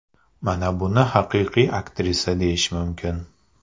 Mana buni haqiqiy aktrisa deyish mumkin.